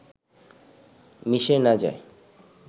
মিশে না যায়।